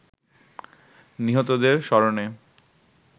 নিহতদের স্মরণে